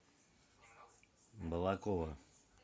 балаково